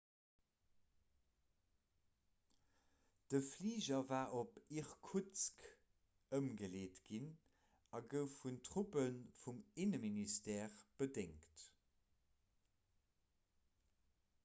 de fliger war op irkutsk ëmgeleet ginn a gouf vun truppe vum inneminstère bedéngt